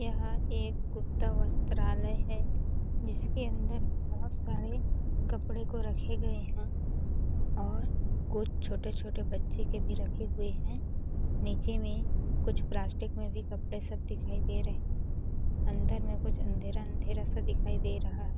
यह एक गुप्ता वस्त्राालय है जिसके अंदर बहुत सारे कपड़े को रखे गए हैं और कुछ छोटे-छोटे बच्चे के भी रखे हुए हैं नीचे में कुछ प्लास्टिक में भी कपड़े सब दिखाई दे रहे हैं अंदर में कुछ अंधेरा अंधेरा सा दिखाई दे रहा है।